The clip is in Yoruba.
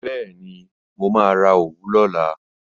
Bẹ́ẹ̀ni, mo máa ra òwú lọ́la